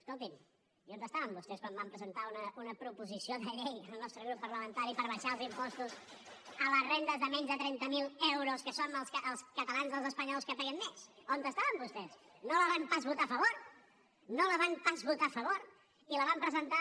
escolti’m i on estaven vostès quan vam presentar una proposició de llei el nostre grup parlamentari per abaixar els impostos a les rendes de menys de trenta mil euros que som els catalans els espanyols que paguem més on estaven vostès no la van pas votar a favor no la van pas votar a favor i la vam presentar